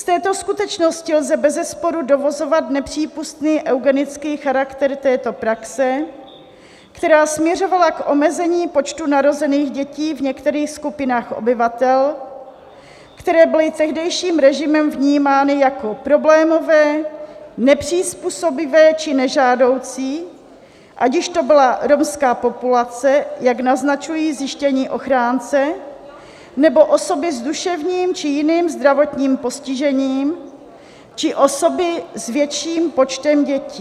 Z této skutečnosti lze bezesporu dovozovat nepřípustný eugenický charakter této praxe, která směřovala k omezení počtu narozených dětí v některých skupinách obyvatel, které byly tehdejším režimem vnímány jako problémové, nepřizpůsobivé či nežádoucí, ať již to byla romská populace, jak naznačují zjištění ochránce, "nebo osoby s duševním či jiným zdravotním postižením či osoby s větším počtem dětí.